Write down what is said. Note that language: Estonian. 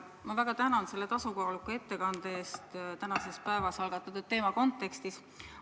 Ma väga tänan selle tasakaaluka ettekande eest täna algatatud teema kontekstis.